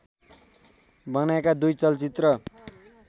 बनाएका दुई चलचित्र